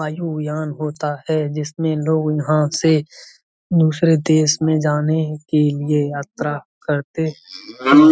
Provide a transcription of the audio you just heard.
एक वायुयान होता है जिसमें लोग यहॉं से दूसरे देश में जाने के लिए यात्रा करते हैं।